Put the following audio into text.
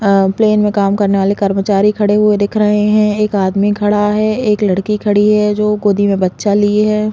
आ plane में काम करने वाले कर्मचारी खड़े हुए दिख रहे है एक आदमी खड़ा है एक लड़की खड़ी हुई है जो गोदी में बच्चा लिए हैं।